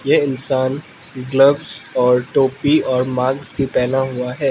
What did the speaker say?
ये इंसान ग्लव्स और टोपी और मास्क भी पहना हुआ है।